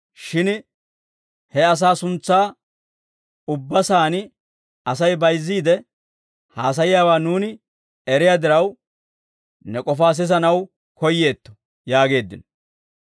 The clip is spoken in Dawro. Shin he asaa suntsaa ubba saan Asay bayizziide haasayiyaawaa nuuni eriyaa diraw, ne k'ofaa sisanaw koyyeetto» yaageeddino.